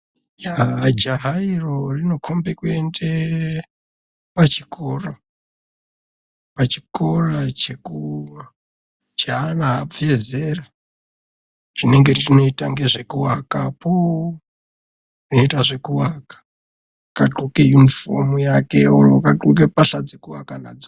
Yah jaha iro inokhomba kuenda pachikora cheana abve zera chinenge chechiita ngezvekuaka akagxoke yunifomu yake akagxoke pahla dzekuaka nadzo.